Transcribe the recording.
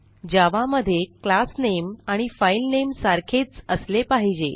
जावा मध्ये क्लास नामे आणि फाइल नामे सारखेच असले पाहिजे